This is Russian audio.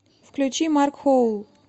включи марк хоул